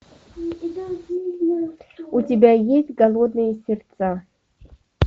у тебя есть голодные сердца